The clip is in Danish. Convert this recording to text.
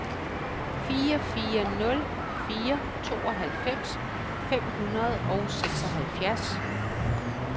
fire fire nul fire tooghalvfems fem hundrede og seksoghalvfjerds